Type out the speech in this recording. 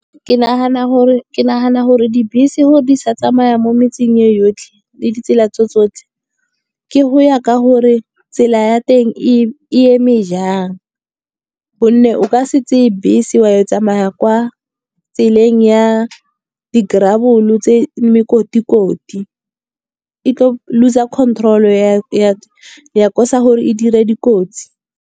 Ke nagana gore dibese gore di sa tsamaya mo metseng yotlhe le ditsela tso tsotlhe, ke go ya ka gore tsela ya teng e eme jang. Gonne o ka se tseye bese wa e tsamaya kwa tseleng ya di-gravel-o tse mekoti-koti. E tlo loser-a control ya cause-a gore e dire dikotsi.